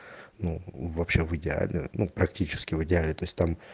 ну вообще в идеале ну практически в идеале то есть там